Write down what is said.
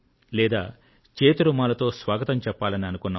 లేదా చేతి రుమాలుతో స్వాగతం చేయాలనుకున్నాం